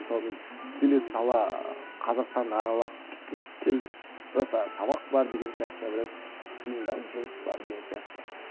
мысалы мен келе сала қазақстанды аралап кеткім келді бірақ та сабақ бар деген сияқты біраз қиындау жұмыс бар деген сияқты